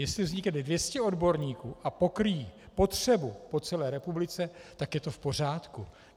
Jestli vznikne 200 odborníků a pokryjí potřebu po celé republice, tak je to v pořádku.